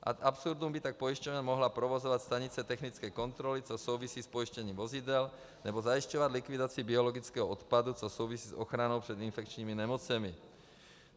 Ad absurdum by tak pojišťovna mohla provozovat stanice technické kontroly, což souvisí s pojištěním vozidel, nebo zajišťovat likvidaci biologického odpadu, což souvisí s ochranou před infekčními nemocemi.